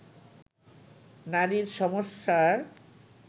নারীর সমস্যার